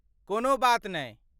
कोनो बात नै।